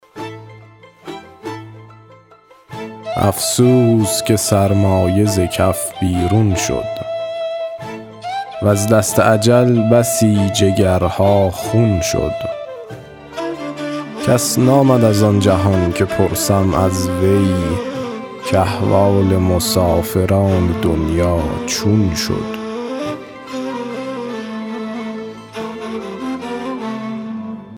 افسوس که سرمایه ز کف بیرون شد وز دست اجل بسی جگرها خون شد کس نآمد از آن جهان که پرسم از وی کاحوال مسافران دنیا چون شد